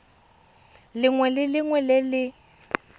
lengwe le lengwe le le